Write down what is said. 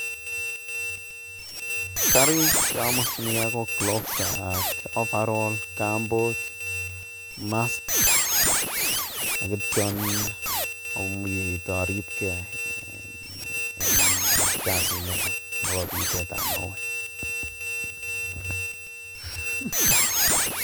Karik cheomokyinike ko gloves ak overall, kambut mask ak kityo aribkee en kasiniton ak abitote mauek.